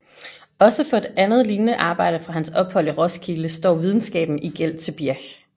Også for et andet lignende arbejde fra hans ophold i Roskilde står videnskaben i gæld til Birch